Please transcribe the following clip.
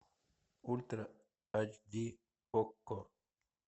ультра ач ди окко